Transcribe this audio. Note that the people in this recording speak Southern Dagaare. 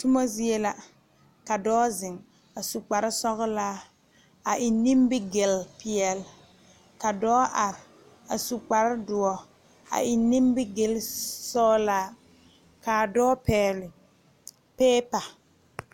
Tuma zie la ka dɔɔ zeŋ a su kpare sɔglɔ a eŋ nimigele peɛle ka dɔɔ are a su kpare doɔ a eŋ nimigele sɔglaa kaa dɔɔ pegle piipe.